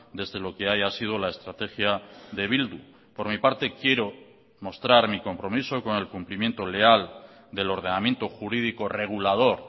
desde lo que haya sido la estrategia de bildu por mi parte quiero mostrar mi compromiso con el cumplimiento leal del ordenamiento jurídico regulador